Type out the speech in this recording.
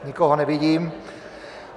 Nikoho nevidím.